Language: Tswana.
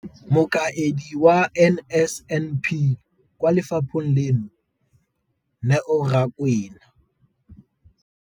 Mokaedi wa NSNP kwa lefapheng leno, Neo Rakwena.